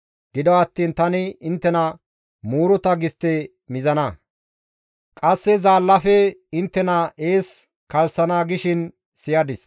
Gido attiin tani inttena muuruta gistte mizana; qasse zaallaafe inttena ees kalssana» gishin siyadis.